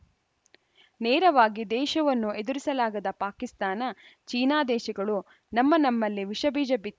ನೇರವಾಗಿ ದೇಶವನ್ನು ಎದುರಿಸಲಾಗದ ಪಾಕಿಸ್ತಾನ ಚೀನಾ ದೇಶಗಳು ನಮ್ಮ ನಮ್ಮಲ್ಲಿ ವಿಷಬೀಜ ಬಿತ್